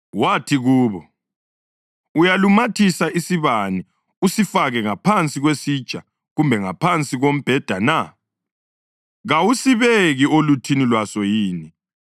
Wathi kubo, “Uyalumathisa isibane usifake ngaphansi kwesitsha kumbe ngaphansi kombheda na? Kawusibeki oluthini lwaso yini?